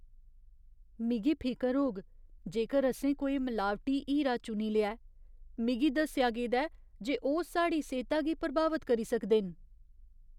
मिगी फिकर होग जेकर असें कोई मलावटी हीरा चुनी लेआ ऐ। मिगी दस्सेआ गेदा ऐ जे ओह् साढ़ी सेह्ता गी प्रभावत करी सकदे न।